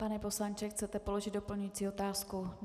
Pane poslanče, chcete položit doplňující otázku?